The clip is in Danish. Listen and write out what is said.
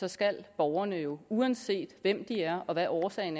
så skal borgerne jo uanset hvem de er og hvad årsagen